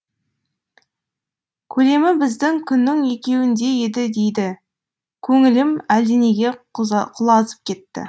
көлемі біздің күннің екеуіндей еді дейді көңілім әлденеге құлазып кетті